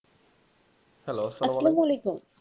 Hello